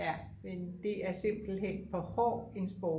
ja men det er simpelthen for hård en sport